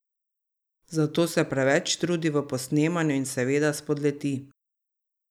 Zato se preveč trudi v posnemanju in seveda spodleti.